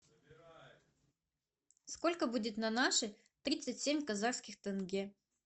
сколько будет на наши тридцать семь казахских тенге